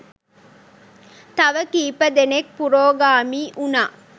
තව කීප දෙනෙක් පුරෝගාමී උණා.